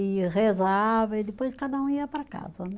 E rezava e depois cada um ia para casa, né?